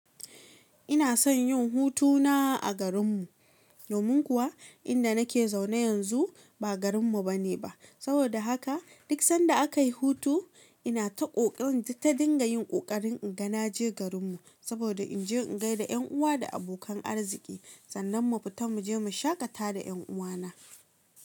Inason yin hutuna a garen mu domin kuwa inda nake zaune yanzu ba garin mu bane saboda haka duk sanda akayi hutu ina ta ƙoƙarin ta dinga yin ƙoƙarin in ga naje garin mu saboda inje in gaida yan uwa da abokan arziki sannan mu fita muje mu shaƙata da yan uwana.